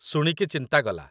ଶୁଣିକି ଚିନ୍ତା ଗଲା